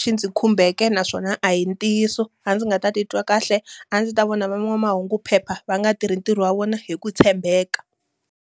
xi ndzi khumbeke naswona a hi ntiyiso. A ndzi nga ta titwa kahle, a ndzi ta vona van'wamahunguphepha va nga tirhi ntirho wa vona hi ku tshembeka.